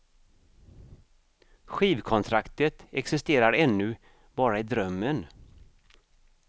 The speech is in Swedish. Skivkontraktet existerar ännu bara i drömmen.